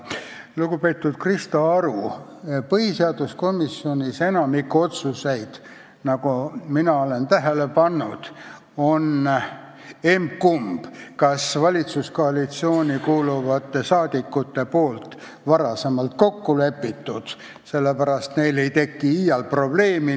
Lugupeetud Krista Aru, põhiseaduskomisjonis on enamiku otsuseid, nagu mina olen tähele pannud, valitsuskoalitsiooni kuuluvad saadikud vist varem kokku leppinud ja sellepärast neil ei teki iial probleemi.